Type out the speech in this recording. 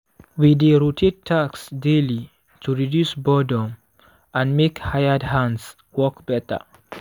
we dey rotate tasks daily to reduce boredom and make hired hands work better.